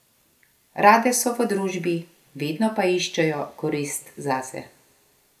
Rade so v družbi, vedno pa iščejo korist zase.